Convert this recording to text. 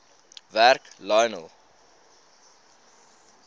werk lionel